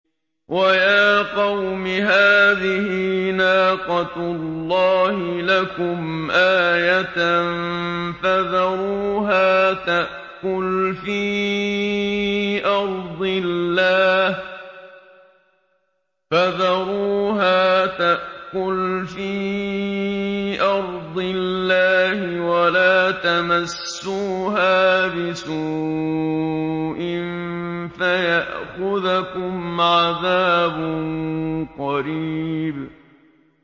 وَيَا قَوْمِ هَٰذِهِ نَاقَةُ اللَّهِ لَكُمْ آيَةً فَذَرُوهَا تَأْكُلْ فِي أَرْضِ اللَّهِ وَلَا تَمَسُّوهَا بِسُوءٍ فَيَأْخُذَكُمْ عَذَابٌ قَرِيبٌ